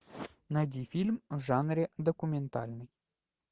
найди фильм в жанре документальный